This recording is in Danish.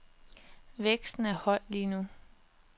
Væksten er høj lige nu.